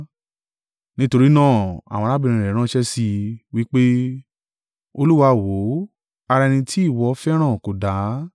Nítorí náà, àwọn arábìnrin rẹ̀ ránṣẹ́ sí i, wí pé, “Olúwa, wò ó, ara ẹni tí ìwọ fẹ́ràn kò dá.”